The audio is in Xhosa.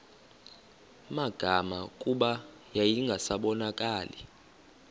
magama kuba yayingasabonakali